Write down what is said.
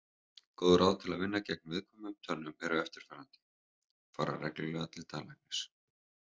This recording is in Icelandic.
Góð ráð til að vinna gegn viðkvæmum tönnum eru eftirfarandi: Fara reglulega til tannlæknis.